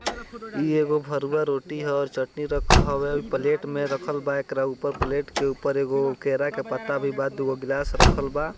इ एगो भरुआ रोटी ह और चटनी रख हवे प्लेट मे रखल बा एकरा ऊपर प्लेट के ऊपर एगो केरा के पत्ता भी बा दुगो गिलास रखल बा।